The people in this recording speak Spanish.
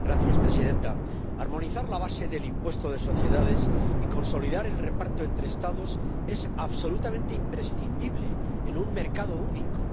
Señora presidenta, armonizar la base del impuesto de sociedades y consolidar el reparto entre Estados es absolutamente imprescindible en un mercado único.